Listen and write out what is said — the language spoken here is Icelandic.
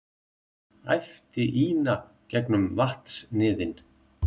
æpti Ína gegnum vatnsniðinn.